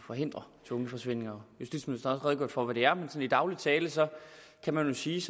forhindre tvungne forsvindinger justitsministeren redegjorde også for hvad det er men i daglig tale kan man sige